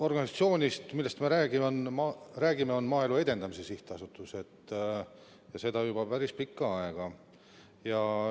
Organisatsioon, millest me räägime, on Maaelu Edendamise Sihtasutus, seda juba päris pikka aega.